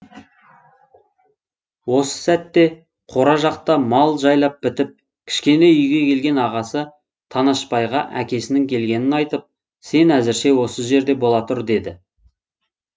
осы сәтте қора жақта мал жайлап бітіп кішкене үйге келген ағасы танашбайға әкесінің келгенін айтып сен әзірше осы жерде бола тұр деді